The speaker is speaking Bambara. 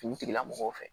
Finitigilamɔgɔw fɛ